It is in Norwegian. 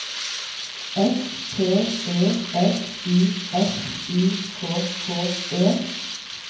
S P E S I F I K K E